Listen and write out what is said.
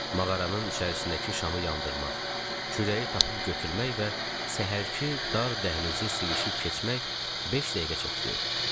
Mağaranın içərisindəki şamı yandırmaq, kürəyi tapıb götürmək və səhərki dar dəhlizi sivişib keçmək beş dəqiqə çəkdi.